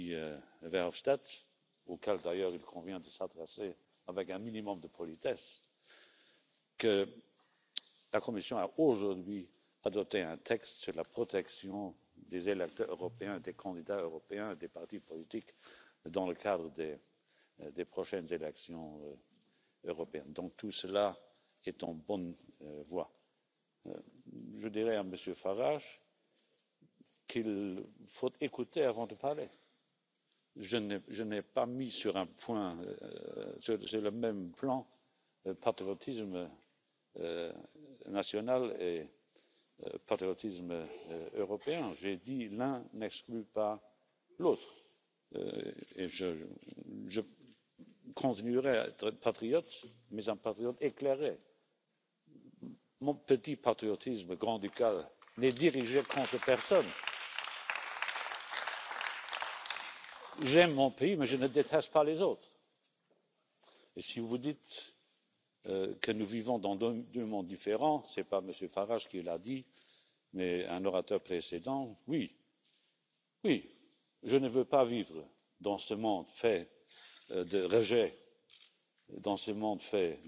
There is much talk about Euroscepticism and concerns in this respect ahead of next year's European Parliament elections. Yet, at the same time, we have seen positive signs on renewed trust and higher levels of support for the Union. For our part, as the Presidency, we are confident that there is enough unity and determination in Europe to tackle these challenges ahead and to transfer them into opportunities. Our motto is a Europe that protects' and this is what we are trying to contribute. I think this motto could also apply to a series of elements of President Juncker's speech today. Europe has emerged stronger in many ways from the crisis we have faced in recent years, but now we need to act swiftly and determinedly on the economy, migration, security and digital Europe, especially cybercrime. The increasing number of cyberattacks and the crucial questions on cybersecurity must be discussed diligently. We will strive to use the effects of digitalisation at its best on the one hand but, on the other hand, we have to deal carefully with the possible negative effects. The goal must be a secure, stable single digital market and the highest trust from the consumers of this service in Europe. Addressing you in this Chamber in July, Chancellor Kurz presented to you the priorities of our Presidency, namely, security and the fight against illegal migration, securing prosperity and competitiveness through digitalisation and stability in the